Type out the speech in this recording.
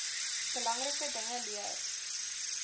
belangrike dinge leer